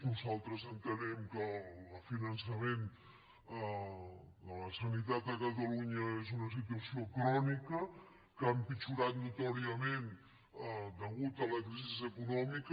nosaltres entenem que el finançament de la sanitat de catalunya és una situació crònica que ha empitjorat notòriament a causa de la crisi econòmica